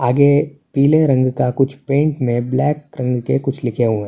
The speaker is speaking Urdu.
آگے پیلے رنگ کا کچھ پینٹ میں بلیک رنگ کے کچھ لکھے ھُوِئے ہے۔.